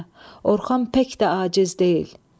Orxan pək də aciz deyil.